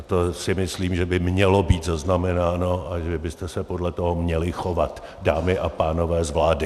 A to si myslím, že by mělo být zaznamenáno a že byste se podle toho měli chovat, dámy a pánové z vlády.